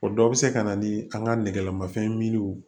O dɔ bɛ se ka na ni an ka nɛgɛlamafɛnw ye